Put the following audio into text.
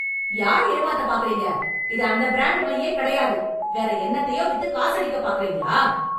யார ஏமாத்தப் பாருக்குறீங்க? இது அந்த ப்ரேண்ட் மையே கிடையாது. வேற என்னத்தையோ வித்து காசடிக்கப் பார்க்குறீங்களா?